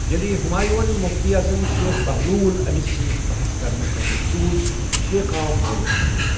ییٚلہِ ہمایوں ہن مفتی اعظم شیخ بہلول أمِس سۭتۍ بحث کرنہٕ خٲطرٕ سوز، شیخ آو مٲرِتھ ژھننہٕ ۔